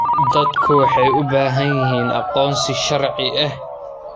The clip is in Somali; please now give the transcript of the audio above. Dadku waxay u baahan yihiin aqoonsi sharci ah.